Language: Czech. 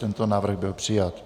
Tento návrh byl přijat.